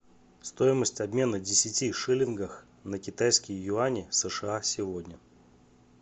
стоимость обмена десяти шиллингах на китайские юани сша сегодня